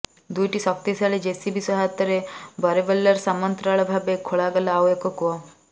ଦୁଇଟି ଶକ୍ତିଶାଳୀ ଜେସିବି ସହାୟତାରେ ବୋରୱେଲର ସମାମନ୍ତରାଳ ଭାବେ ଖୋଳାଗଲା ଆଉ ଏକ କୂଅ